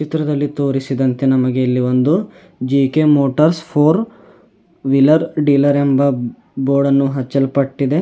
ಚಿತ್ರದಲ್ಲಿ ತೋರಿಸಿದಂತೆ ನಮಗೆ ಇಲ್ಲಿ ಒಂದು G K motors four wheeler dealer ಎಂಬ ಬೋರ್ಡ್ ಅನ್ನು ಹಚ್ಚಲ್ಪಟ್ಟಿದೆ.